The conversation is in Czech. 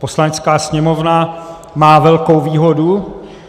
Poslanecká sněmovna má velkou výhodu.